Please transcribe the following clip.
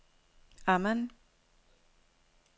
Amman